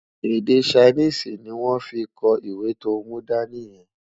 Èdè Chinese ní wón fí kò ìwé tó mú dání yen